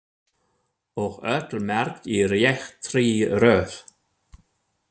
Og öll merkt í réttri röð.